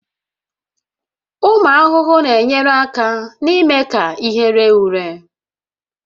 Ụmụ ahụhụ na-enyere aka n'ime ka ihe ree ure